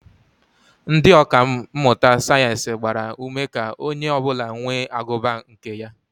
Ndị ọka mmụta sayeensị gbara ume ka onye ọbụla nwee agụba nke ya